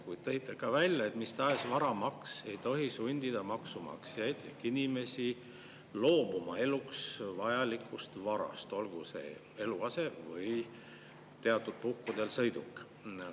Ja tõite ka välja, et mis tahes varamaks ei tohi sundida maksumaksjaid ehk inimesi loobuma eluks vajalikust varast, olgu see eluase või teatud puhkudel sõiduk.